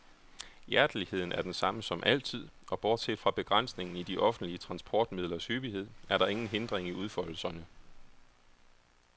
Hjerteligheden er den samme som altid, og bortset fra begrænsningen i de offentlige transportmidlers hyppighed er der ingen hindring i udfoldelserne.